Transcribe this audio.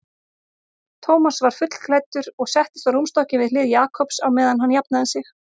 Thomas var fullklæddur og settist á rúmstokkinn við hlið Jakobs á meðan hann jafnaði sig.